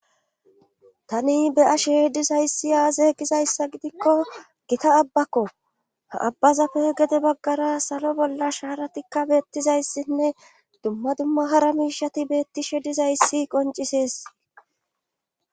Tani beyashe dizayssi aaza e gizayssa gidikko gita abbakko ha abbazappe gede baggara salo bolla shaaratikka beettizayssinne dumma dumma hara miishati beetti she dizayssi qoncisees.